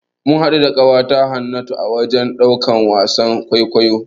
Mun haɗu da ƙawata Hannatu a wajen ɗaukan wasan kwaikwayo.